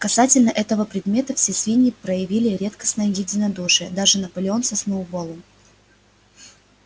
касательно этого предмета все свиньи проявили редкостное единодушие даже наполеон со сноуболлом